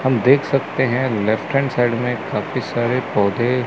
हम देख सकते हैं लेफ्ट हैंड साइड में काफी सारे पौधे--